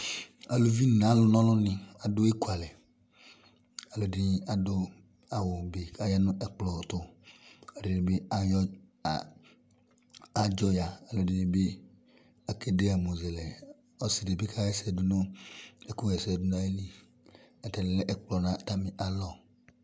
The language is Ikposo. Aluvi n'alʋ n'ɔlʋni adʋ ekualɛ Alʋɛdini adʋ awʋ be k'aynʋ ɛkplɔ tʋ, ɛdini bi ayɔ, a, adzɔ ya, alʋ ɛdini bi akede ɛmɔzɛlɛ, ɔsi di bi kaha ɛsɛ dʋ ɛkʋha ɛsɛ dʋ nayili yɛ, atani alɛ ɛkplɔ nʋ atami alɔ